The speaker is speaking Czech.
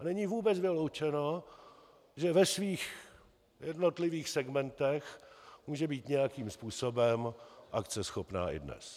A není vůbec vyloučeno, že ve svých jednotlivých segmentech může být nějakým způsobem akceschopná i dnes.